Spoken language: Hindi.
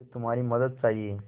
मुझे तुम्हारी मदद चाहिये